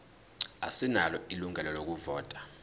asinalo ilungelo lokuvota